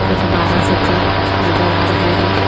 कुछ बारह सिक्का नजर आ रहे हैं।